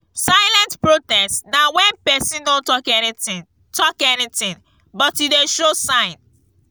silent protest na when persin no talk anything talk anything but e de show sign